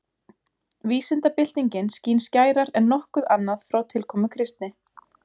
Vísindabyltingin skín skærar en nokkuð annað frá tilkomu kristni.